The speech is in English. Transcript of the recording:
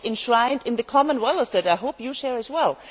What is enshrined in the common values that I hope you share as well?